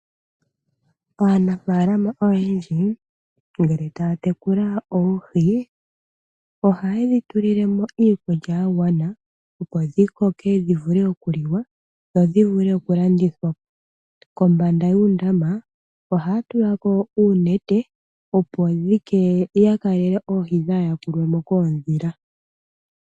Aanafaalama oyendji uuna taya tekula oohi ohaye dhitulilemo iikulya yagwana opo dhikoke dhivule okuliwa, dho dhivule oku landithwa. Kombanda yuundama ohaya tulako uunete opo ya kelele oohi kadhi yakulwemo koodhila.